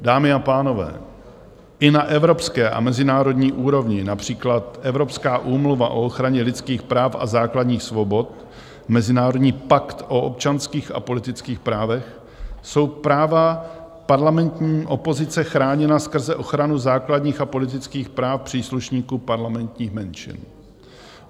Dámy a pánové, i na evropské a mezinárodní úrovni, například Evropská úmluva o ochraně lidských práv a základních svobod, Mezinárodní pakt o občanských a politických právech, jsou práva parlamentní opozice chráněna skrze ochranu základních a politických práv příslušníků parlamentních menšin.